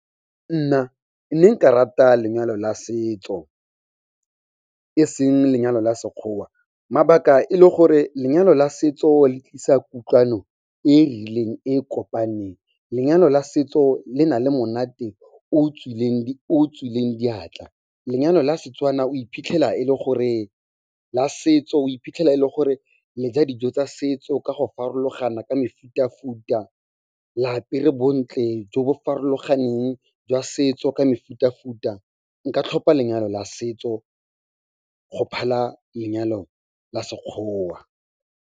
Nna ne nka rata lenyalo la setso e seng lenyalo la Sekgowa. Mabaka e le gore lenyalo la setso le tlisa kutlwano e e rileng e kopaneng, lenyalo la setso le na le monate o tswileng diatla. Lenyalo la setso o iphitlhela e le gore le ja dijo tsa setso ka go farologana ka mefuta-futa, le apere bontle jo bo farologaneng jwa setso, ka mefuta-futa. Nka tlhopha lenyalo la setso go phala lenyalo la Sekgowa.